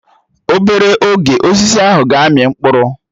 Obere oge, Osisi ahụ ga-amị mkpụrụ